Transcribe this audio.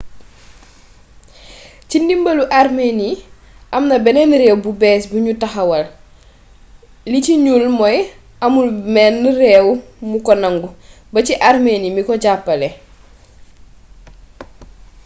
ci ndimbalu armenie amna beneen réew bu bees buñu taxawal li ci ñuul mooy amul menn réew mu ko nangu ba ci armenie mi ko jàppale